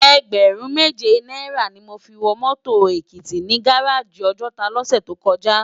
Ègbèrún méjé náirâ ni mó fi wò mòtó Ekiti ni gáráji Òjòtá lòsè tókòjá